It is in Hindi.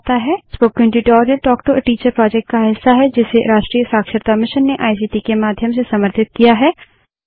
spoken tutorial talk to a teacher project का हिस्सा है जिसे राष्ट्रीय शिक्षा मिशन ने आईसीटी के माध्यम से समर्थित किया है